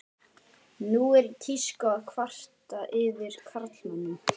Nú er í tísku að kvarta yfir karlmönnum.